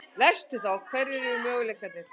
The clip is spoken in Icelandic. Hverjir eru möguleikarnir?